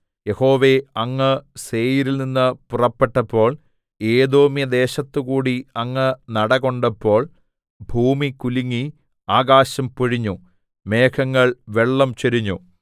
യഹോവേ അങ്ങ് സേയീരിൽനിന്ന് പുറപ്പെട്ടപ്പോൾ ഏദോമ്യദേശത്തുകൂടി അങ്ങ് നടകൊണ്ടപ്പോൾ ഭൂമി കുലുങ്ങി ആകാശം പൊഴിഞ്ഞു മേഘങ്ങൾ വെള്ളം ചൊരിഞ്ഞു